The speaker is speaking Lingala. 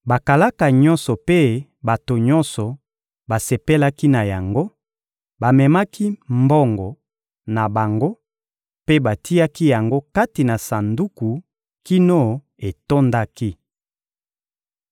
Bakalaka nyonso mpe bato nyonso basepelaki na yango: bamemaki mbongo na bango mpe batiaki yango kati na sanduku kino etondaki.